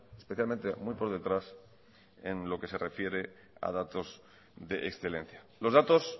especialmente muy por detrás en lo que se refiere a datos de excelencia los datos